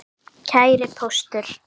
Kæri Póstur!